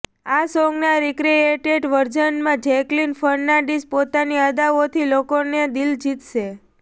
આ સોંગના રીક્રિએટેડ વર્ઝનમાં જેકલીન ફર્નાડિઝ પોતાની અદાઓથી લોકોની દિલ જીતશે